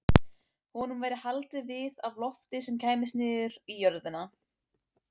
Honum væri haldið við af lofti sem kæmist niður í jörðina.